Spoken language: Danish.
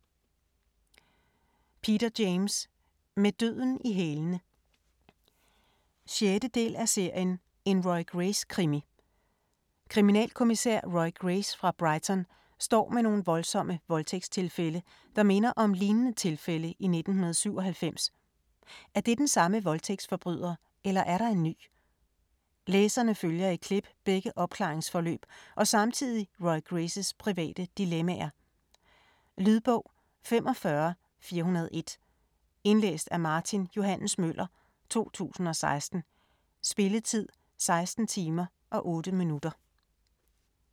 James, Peter: Med døden i hælene 6. del af serien En Roy Grace krimi. Kriminalkommissær Roy Grace fra Brighton står med nogle voldsomme voldtægtstilfælde, der minder om lignende tilfælde i 1997. Er det den samme voldtægtsforbryder, eller er der en ny? Læserne følger i klip begge opklaringsforløb og samtidig Roy Graces private dilemmaer. Lydbog 45401 Indlæst af Martin Johs. Møller, 2016. Spilletid: 16 timer, 8 minutter.